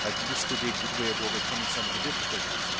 That could be a good way of overcoming some of the difficulties.